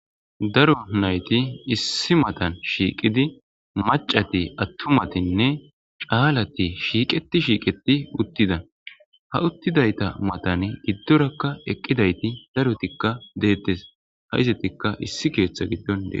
daro nayti issi matan shiiqidi macati attumatinne caalati shiiqeti shiiqeti uttida ha uttidayta matan giddorakka eqqidayti darotikka deettes ha izatikka issi keeththa giddon dee